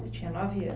Você tinha nove